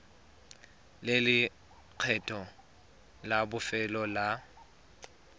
le lekgetho la bofelo la